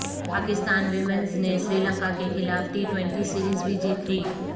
Pakistan women's نے سری لنکاکیخلاف ٹی ٹوئنٹی سیریز بھی جیت لی